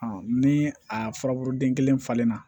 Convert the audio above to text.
ni a furabulu den kelen falenna